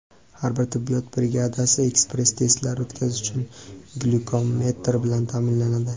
Har bir tibbiyot brigadasi ekspress-testlar o‘tkazish uchun glyukometr bilan ta’minlanadi.